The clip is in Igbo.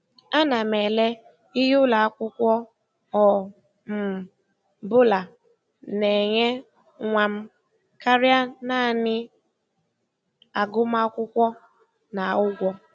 Ana m ele ihe ụlọ akwụkwọ ọ um bụla na-enye nwa m karịa naanị agụmakwụkwọ na ụgwọ.